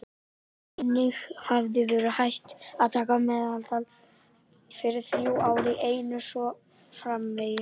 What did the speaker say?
Einnig hefði verið hægt að taka meðaltal fyrir þrjú ár í einu og svo framvegis.